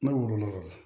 Ne woloma dɛ